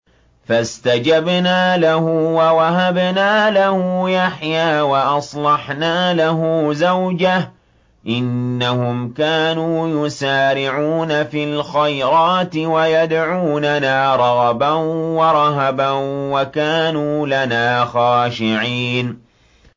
فَاسْتَجَبْنَا لَهُ وَوَهَبْنَا لَهُ يَحْيَىٰ وَأَصْلَحْنَا لَهُ زَوْجَهُ ۚ إِنَّهُمْ كَانُوا يُسَارِعُونَ فِي الْخَيْرَاتِ وَيَدْعُونَنَا رَغَبًا وَرَهَبًا ۖ وَكَانُوا لَنَا خَاشِعِينَ